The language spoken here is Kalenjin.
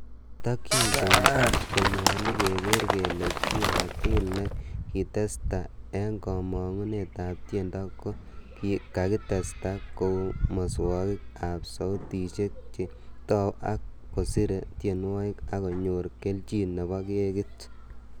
Ki tokyin ko nyolu keger kele chi agetugul nekakitesta en komong'unet ab tiendo ko kakitesta kou muswogik ab soutisiek, che tou ak kosire tienwogik ak konyor kelchin nebo kekit.